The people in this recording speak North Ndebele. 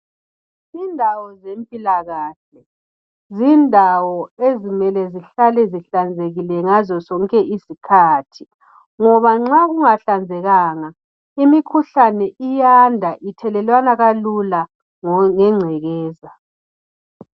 Indawo zempilakahle, zindawo ezimele zihlale zihlanzekile ngazo zonke izikhathi ngoba nxa kungahlanzekanga imikhuhlane iyanda ithelelwana kalula ngengcekeza